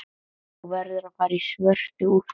Þú verður að fara í svörtu úlpuna.